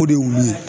O de y'u ye